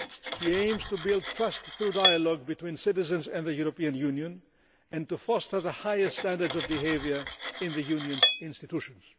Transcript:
He aims to build trust through dialogue between citizens and the European Union and to foster the highest standards of behaviour in the Union's institutions.